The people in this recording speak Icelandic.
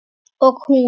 Og hún.